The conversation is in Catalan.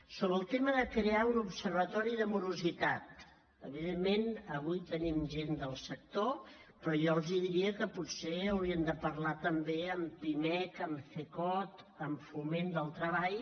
sobre el tema de crear un observatori de morositat evidentment avui tenim gent del sector però jo els diria que potser haurien de parlar també amb pimec amb cecot amb foment del treball